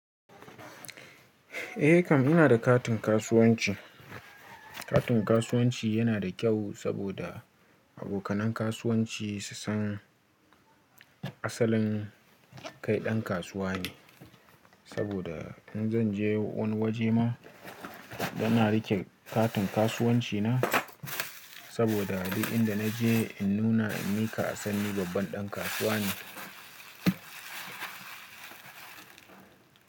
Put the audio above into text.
Eh Kam ina da katin kasuwanci. Katin kasuwanci yana da kyau saboda abokanai kasuwanci su san asalin kai ɗan kasuwa ne. Saboda in zan je wani waje ma bana rike katin kasuwanci na saboda abin da na je in nuna in mi ka san ni babban ɗan kasuwa ne.